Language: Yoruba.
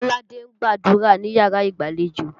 Kọ́ládé ń gbàdúrà níyàrá ìgbàlejò.